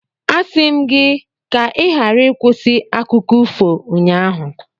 Asị m gị ka ị ghara ịkwụsị akụkọ ifo ụnyaahụ.